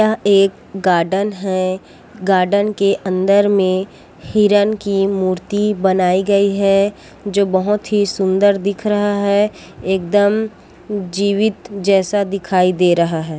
एक गार्डन है गार्डन के अंदर में हिरण की मूर्ति बनाई गई है जो बहुत ही सुंदर दिख रहा है एकदम जीवित जैसा दिखाई दे रहा है।